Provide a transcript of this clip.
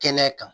Kɛnɛ kan